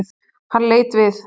Hann leit við.